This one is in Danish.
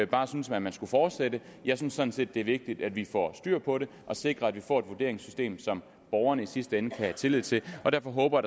bare synes at man skulle fortsætte jeg synes sådan set det er vigtigt at vi får styr på det og sikre at vi får et vurderingssystem som borgerne i sidste ende kan have tillid til og derfor håber